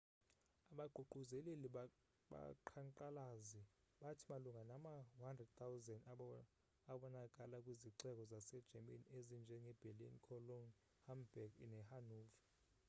abaququzeleli babaqhankqalazi bathi malunga nama 100,000 abonakala kwizixeko zase german ezinjenge berlin cologne hamburg nehanover